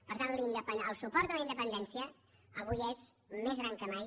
per tant el suport a la independència avui és més gran que mai